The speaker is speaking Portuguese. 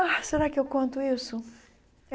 Ah, será que eu conto isso?